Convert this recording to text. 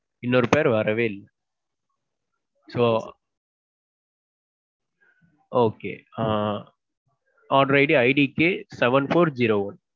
இன்னொரு pair வரவே இல்ல So Okay. ஆ. orderIDIDKseven four zero one.